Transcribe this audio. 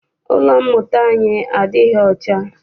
Ụlọ mmụta anyi adịghị ọcha.